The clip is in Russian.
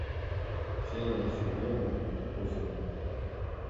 ксения сергеевна косова